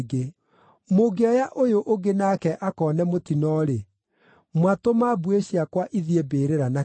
Mũngĩoya ũyũ ũngĩ nake akoone mũtino-rĩ, mwatũma mbuĩ ici ciakwa ithiĩ mbĩrĩra na kĩeha.’